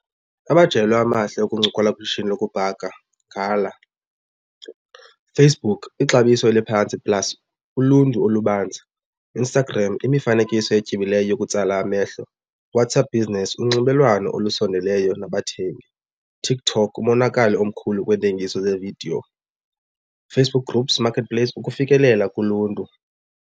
Amajelo amahle okuncokola kwishishini lokubhaka ngala. Facebook ixabiso eliphantsi plus uluntu olubanzi. Instagram imifanekiso etyebileyo yokutsala amehlo. WhatsApp Business unxibelelwano olusondeleyo nabathengi. TikTok umonakalo omkhulu kweentengiso ze-video. Facebook Groups, Marketplace ukufikelela kuluntu.